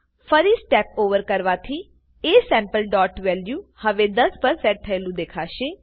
ફરી step over કરવાથી asampleવેલ્યુ હવે 10 પર સેટ થયેલું દેખાશે